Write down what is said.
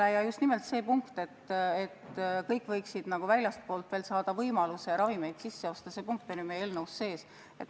Meie eelnõus on sees just nimelt punkt, et kõik võiksid saada võimaluse ka väljastpoolt ravimeid sisse osta.